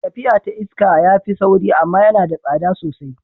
Tafiya ta iska ya fi sauri amma yana da tsada sosai.